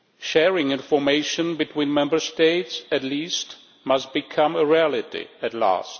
Sharing information between Member States at least must become a reality at last.